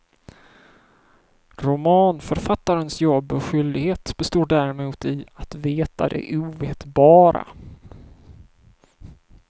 Romanförfattarens jobb och skyldighet består däremot i att veta det ovetbara.